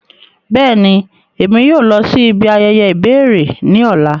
Bẹ́ẹ̀ni, Émi yóò lọ si ibi ayẹyẹ ibẹrẹ ni ọla.